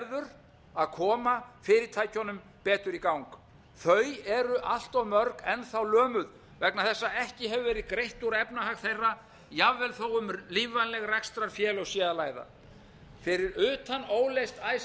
verður að koma fyrirtækjunum betur í gang þau eru enn þá allt mörg lömuð vegna þess að ekki hefur verið greitt úr efnahag þeirra jafnvel þó um lífvænleg rekstrarfélög sé að ræða fyrir utan óleyst icesave